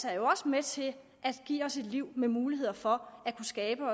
er jo også med til at give os et liv med muligheder for at skabe